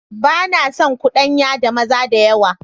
Ba na son cudanya da maza da yawa.